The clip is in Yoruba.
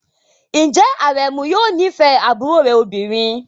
Ǹjẹ́ Aremu yóò nífẹ̀ẹ́ àbúrò rẹ̀ obìnrin?